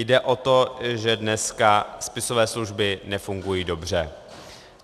Jde o to, že dneska spisové služby nefungují dobře.